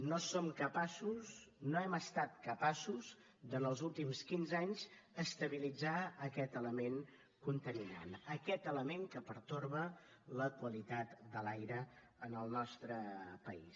no som capaços no hem estat capaços de en els últims quinze anys estabilitzar aquest element contaminant aquest element que pertorba la qualitat de l’aire en el nostre país